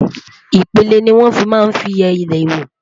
ipele ní wọn fí má n fí yé ilé wo